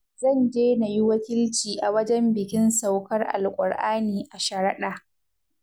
Zan je na yi wakilci a wajen bikin saukar Alkur'ani a sharaɗa.